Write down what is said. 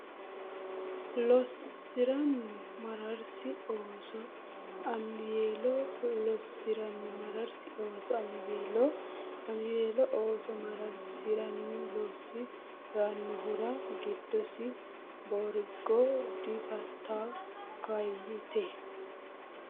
lossi ranni mararsi ooso Amiweelo lossi ranni mararsi ooso Amiweelo Amiweelo ooso mararsi ranni lossi rannohura giddosenni Boorago Diafittayya Kaayyite !